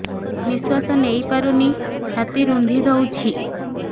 ନିଶ୍ୱାସ ନେଇପାରୁନି ଛାତି ରୁନ୍ଧି ଦଉଛି